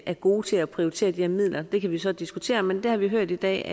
er gode til at prioritere de her midler det kan vi så diskutere men det har vi hørt i dag